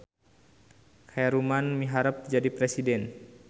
Khaeruman miharep jadi presiden